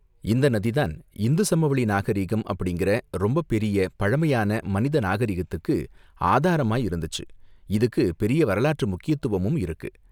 இந்த நதி தான், இந்து சமவெளி நாகரிகம் அப்படிங்கற ரொம்ப பெரிய பழமையான மனித நாகரிகத்துக்கு ஆதாரமா இருந்துச்சு, இதுக்கு பெரிய வரலாற்று முக்கியத்துவமும் இருக்கு.